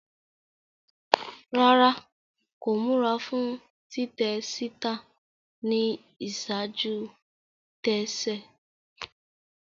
Rárá, ko mura fún titẹ síta ni iṣaaju-tẹ se